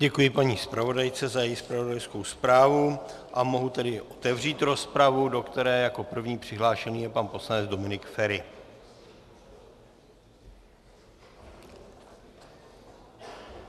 Děkuji paní zpravodajce za její zpravodajskou zprávu a mohu tedy otevřít rozpravu, do které jako první přihlášený je pan poslanec Dominik Feri.